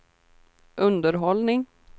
underhållning